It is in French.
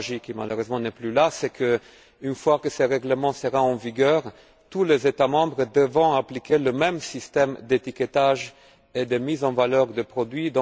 Tabajdi qui, malheureusement, n'est plus là c'est qu'une fois que ce règlement sera entré en vigueur, tous les États membres devront appliquer le même système d'étiquetage et de mise en valeur des produits.